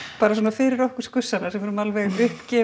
fyrir okkur skussana sem erum alveg